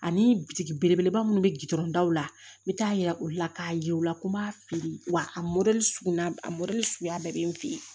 Ani tigi belebeleba minnu bɛ gdɔrɔnw la n bɛ taa yira olu la k'a ye u la ko n b'a fili wa a mɔ suguya a suguya bɛɛ bɛ n fɛ yen